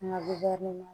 Nka biridi ma